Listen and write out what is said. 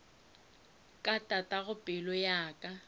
ka tatago pelo ya ka